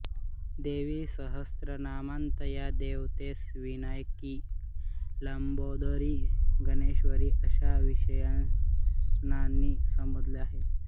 देवीसहस्रनामांत या देवतेस विनायकी लंबोदरी गणेश्वरी अशा विशेषणांनी संबोधले आहे